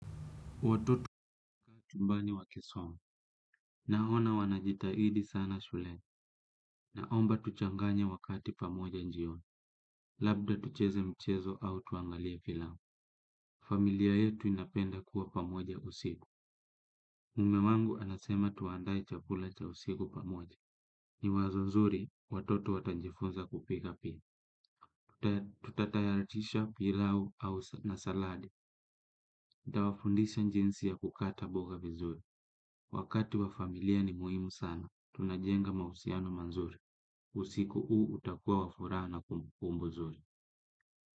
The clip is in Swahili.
Watoto wako chumbani wakisoma. Naona wanajitahidi sana shuleni. Naomba tuchanganye wakati pamoja jioni. Labda tucheze mchezo au tuangalie filamu. Familia yetu inapenda kuwa pamoja usiku. Mme wangu anasema tuandae chakula cha usiku pamoja. Ni wazo zuri, watoto watajifunza kupika pia. Tutatayaratisha pilau na saladi. Nitawafundisha jinsi ya kukata mboga vizuri. Wakati wa familia ni muhimu sana, tunajenga mahusiano mazuri. Usiku huu utakua wa furaha na kumbukumbu nzuri.